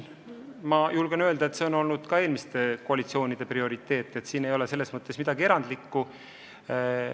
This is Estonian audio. Julgen öelda, et see on olnud ka eelmiste koalitsioonide prioriteet, nii et selles ei ole midagi erandlikku.